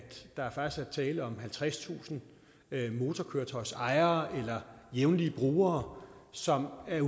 tale om halvtredstusind motorkøretøjsejere eller jævnlige brugere som er